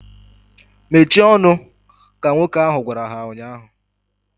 Mechie ọnụ! Ka nwoke ahu gwara ha ụnyaahụ